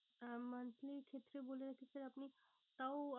আমাদের ক্ষেত্রে বলে রাখি sir আপনি তাও